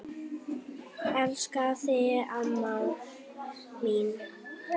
Elska þig amma mín.